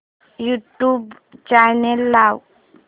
YouTube channel लाव